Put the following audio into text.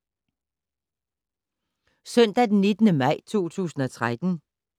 Søndag d. 19. maj 2013